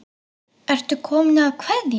Ertu kominn að kveðja?